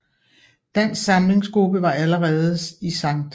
Dansk Samlings gruppe var allerede i St